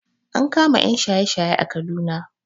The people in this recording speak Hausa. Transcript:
An kama ƴan shaye shaye a Kaduna